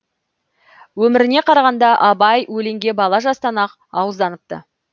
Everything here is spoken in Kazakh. өміріне карағанда абай өлеңге бала жастан ақ ауызданыпты